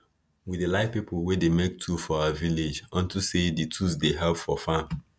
we dey like people wey dey make tool for our village unto say di tools dey help for farm